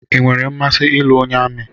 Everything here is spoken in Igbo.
I nwèrè mmasị ịlụ onye amị